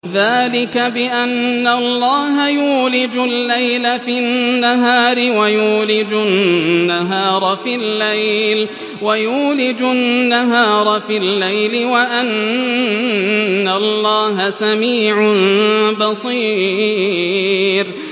ذَٰلِكَ بِأَنَّ اللَّهَ يُولِجُ اللَّيْلَ فِي النَّهَارِ وَيُولِجُ النَّهَارَ فِي اللَّيْلِ وَأَنَّ اللَّهَ سَمِيعٌ بَصِيرٌ